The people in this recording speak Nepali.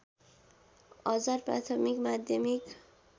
हजार प्राथमिक माध्यमिक